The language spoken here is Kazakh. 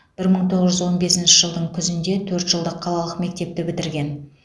бір мың тоғыз жүз он бесінші жылдың күзінде төрт жылдық қалалық мектепті бітірген